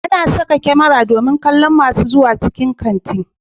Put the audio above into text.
Ana saka kamara domin kallon masu zuwa cikin kanti